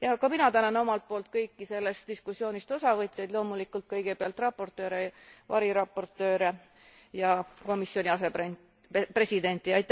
Ka mina tänan omalt poolt kõiki sellest diskussioonist osavõtjaid, loomulikult kõigepealt raportööre, variraportööre ja komisjoni asepresidenti.